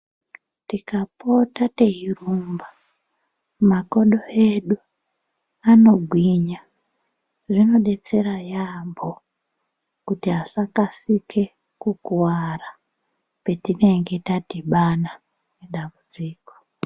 Tikapota teirumba makodo edu anogwinya , zvinodetsera yambo kuti asakasike kukuwara petinenge tadhibana ngedambudziko.